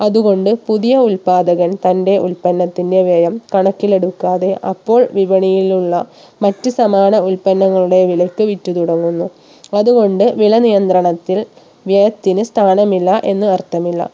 അതുകൊണ്ട് പുതിയ ഉൽപ്പാദകൻ തന്റെ ഉൽപ്പന്നത്തിന്റെ വ്യയം കണക്കിലെടുക്കാതെ അപ്പോൾ വിപണിയിലുള്ള മറ്റു സമാന ഉൽപ്പന്നങ്ങളുടെ വിലക്ക് വിറ്റ് തുടങ്ങുന്നു അതുകൊണ്ട് വില നിയന്ത്രണത്തിൽ വ്യയത്തിന് സ്ഥാനമില്ല എന്ന് അർത്ഥമില്ല